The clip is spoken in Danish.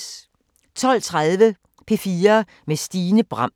12:32: P4 med Stine Bram